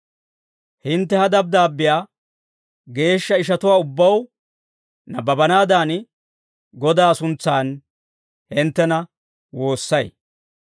Hintte ha dabddaabbiyaa geeshsha ishatuwaa ubbaw nabbabanaadan, Godaa suntsan hinttena woossay.